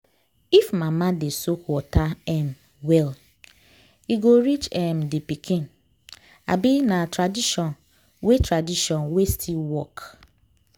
if mama dey soak water um well e go reach um the pikin. um na tradition wey tradition wey still work